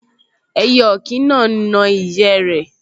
Ẹyẹ ọ̀kín náà n na ìyẹ́ rẹ̀